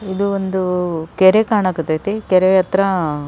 ಇದು ಒಂದು ಕೆರೆ ಕಣಕ್ ಹತೈತಿ ಕೆರೆ ಹತ್ರ --